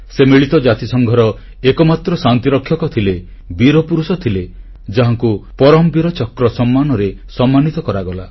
ସେ ମିଳିତ ଜାତିସଂଘର ଏକମାତ୍ର ଶାନ୍ତିରକ୍ଷକ ଥିଲେ ବୀରପୁରୁଷ ଥିଲେ ଯାହାଙ୍କୁ ପରମବୀର ଚକ୍ର ସମ୍ମାନରେ ସମ୍ମାନିତ କରାଗଲା